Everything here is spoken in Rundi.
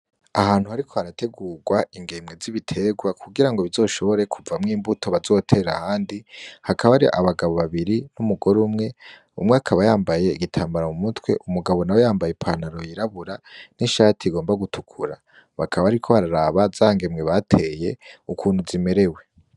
Ahantu hariko harategurwa ingemwe z'ibiterwa kugira ngo bizoshobore kuvamwo imbuto bazotera handi hakaba ari abagabo babiri n'umugore umwe umwe akaba yambaye igitambara mu mutwe umugabo na we yambaye panaro yirabura n'inshati igomba gutukura bakaba, ariko bararaba za ngemwe bateye ukuntu zimerewe.